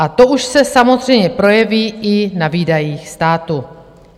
A to už se samozřejmě projeví i na výdajích státu.